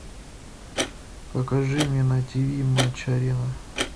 покажи мне на тв матч арена